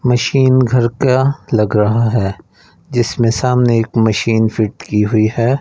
Machine घर का लग रहा है जिसमें सामने एक मशीन फिट की हुई है।